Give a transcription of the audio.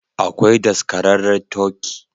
Akwai daskararre turkey